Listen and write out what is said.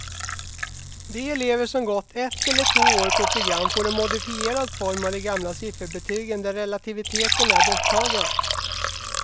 De elever som gått ett eller två år på program får en modifierad form av de gamla sifferbetygen där relativiteten är borttagen.